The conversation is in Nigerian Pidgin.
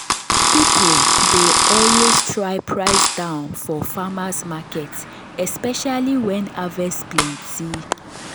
people dey always try price down for farmers’ market especially when harvest plenty.